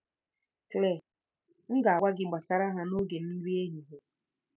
Claire: M ga-agwa gị gbasara ha n'oge nri ehihie.